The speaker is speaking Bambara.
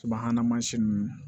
Subahana mansin ninnu